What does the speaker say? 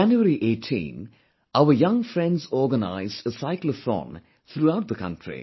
On January 18, our young friends organized a Cyclothon throughout the country